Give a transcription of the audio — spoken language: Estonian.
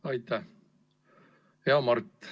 Hea Mart!